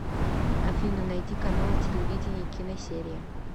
афина найди канал телевидения киносерия